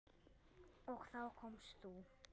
Og þá komst þú.